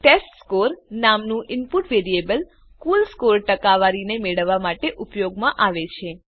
test score નામનું input variable કુલ score ટકાવારીને મેળવવા માટે ઉપયોગમાં આવે છે